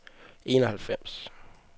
enoghalvfems